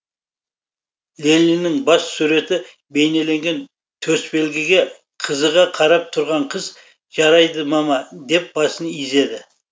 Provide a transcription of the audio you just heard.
лениннің бас суреті бейнеленген төсбелгіге қызыға қарап тұрған қыз жарайды мама деп басын изеді